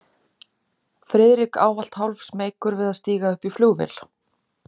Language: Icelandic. Friðrik ávallt hálfsmeykur við að stíga upp í flugvél.